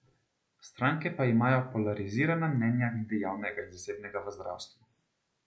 Stranke pa imajo polarizirana mnenja glede javnega in zasebnega v zdravstvu.